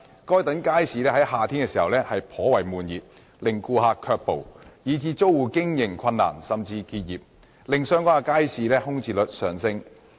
該等街市在夏天時頗為悶熱，令顧客卻步，以致租戶經營困難甚至需結業，令相關街市的空置率上升。